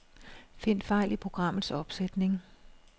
Find fejl i programmets opsætning.